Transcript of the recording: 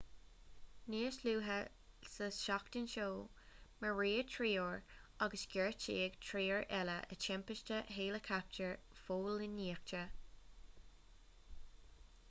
níos luaithe sa tseachtain seo maraíodh triúr agus gortaíodh triúr eile i dtimpiste héileacaptair phóilíneachta